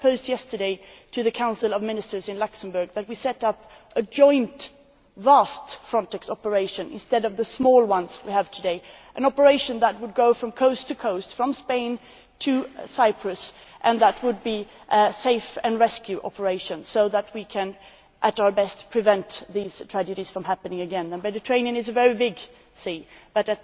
I proposed to the Council of Ministers in Luxembourg yesterday that we set up a joint, vast Frontex operation instead of the small ones we have today an operation that would go from coast to coast, from Spain to Cyprus, and which would be a save and rescue operation so that we can, at best, prevent these tragedies from happening again. The Mediterranean is a very big sea, but